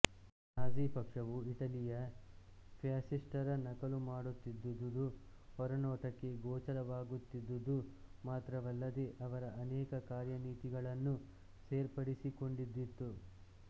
Nazi ಪಕ್ಷವು ಇಟಲಿಯ ಫ್ಯಾಸಿಸ್ಟರ ನಕಲು ಮಾಡುತ್ತಿದ್ದುದು ಹೊರನೋಟಕ್ಕೆ ಗೋಚರವಾಗುತ್ತಿದ್ದುದು ಮಾತ್ರವಲ್ಲದೆ ಅವರ ಅನೇಕ ಕಾರ್ಯನೀತಿಗಳನ್ನೂ ಸೇರ್ಪಡಿಸಿಕೊಂಡಿದ್ದಿತ್ತು